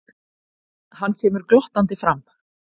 Hann kemur glottandi fram.